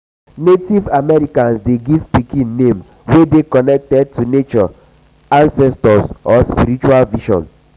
native americans de give pikin name wey dey connected to nature ancestor or spiritual vision